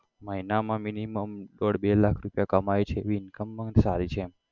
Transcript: મહિનામાં minimum દોઢ બે લાખ રૂપિયા કમાય છે એવી income પણ સારી છે.